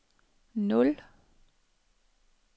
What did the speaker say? nul